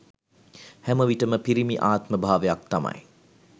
හැමවිටම පිරිමි ආත්ම භාවයක් තමයි